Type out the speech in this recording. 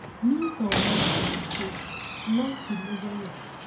Niĩ thomaga ũtukũ noti mũthenya